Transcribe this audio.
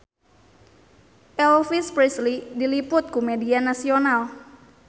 Elvis Presley diliput ku media nasional